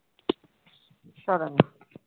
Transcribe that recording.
சொல்லுங்க